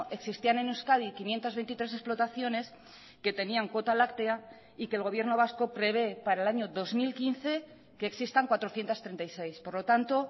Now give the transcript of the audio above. existían en euskadi quinientos veintitrés explotaciones que tenían cuota láctea y que el gobierno vasco prevé para el año dos mil quince que existan cuatrocientos treinta y seis por lo tanto